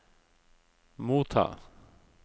motta